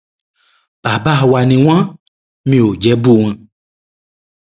bàbá wa ni wọn mi ò jẹ bú wọn